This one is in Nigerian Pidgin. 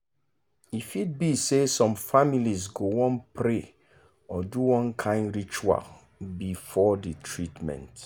e fit be say some families go wan pray or do one kind ritual before the treatment